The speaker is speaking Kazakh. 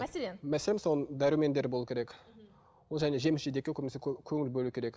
мәселен мәселен мысалы дәрумендер болуы керек ол және жеміс жидекке көбінесе көңіл бөлу керек